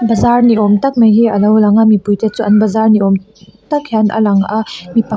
zâr ni âwm tak mai hi a lo lang a mipuite chu an bazar ni âwm tak hian a lang a mi pa--